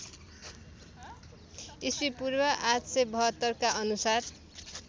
ईपू ८५२ का अनुसार